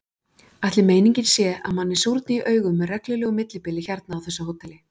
Ætli meiningin sé að manni súrni í augum með reglulegu millibili hérna á þessu hóteli?